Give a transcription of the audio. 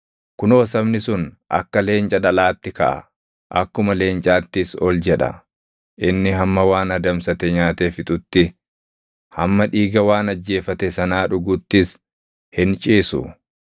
Kunoo sabni sun akka leenca dhalaatti kaʼa; akkuma leencaattis ol jedha; inni hamma waan adamsate nyaatee fixutti, hamma dhiiga waan ajjeefate sanaa dhuguttis hin ciisu.”